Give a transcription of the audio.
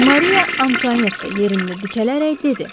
Maria Antuanetta yerində dikələrək dedi.